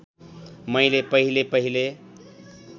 मैले पहिले पहिले